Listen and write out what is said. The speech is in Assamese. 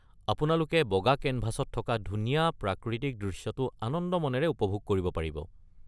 আপোনালোকে বগা কেনভাছত থকা ধুনীয়া প্ৰাকৃতিক দৃশ্যটো আনন্দ মনেৰে উপভোগ কৰিব পাৰিব।